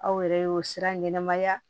Aw yɛrɛ y'o sira ɲɛnɛmaya